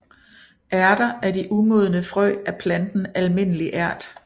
Ærter er de umodne frø af planten Almindelig Ært